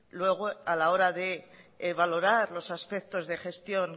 luego a la hora de valorar los aspectos de gestión